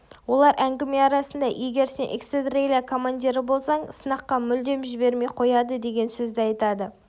олар әңгіме арасында егер сен эскадрилия командирі болсаң сынаққа мүлдем жібермей қояды деген сөзді айтады